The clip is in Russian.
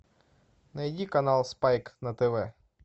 найди канал спайк на тв